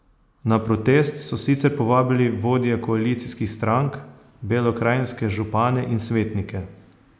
Na protest so sicer povabili vodje koalicijskih strank, belokranjske župane in svetnike.